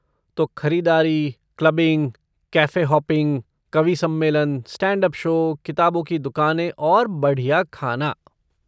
तो, खरीदारी, clubbing, cafe hopping, कवि सम्मेलन, स्टैंड अप शो, किताबों की दुकानें और बढ़िया खाना।